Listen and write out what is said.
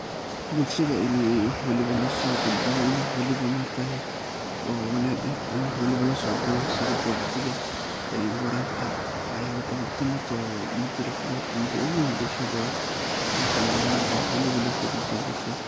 Bulshada ini wax walbo loosoo gudbiyo ini wax waliba maargtaye oo wanaag eh in wax waliba loosoo duubo sidha wacdiga, wararka, wax yaaba badan, tan horta mida laf dabarka mida oogu weyn bulshada waa ini cameraman lanoqdo wax waliba loosoo gudbiyo bulshada.